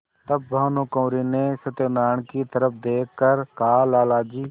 तब भानुकुँवरि ने सत्यनारायण की तरफ देख कर कहालाला जी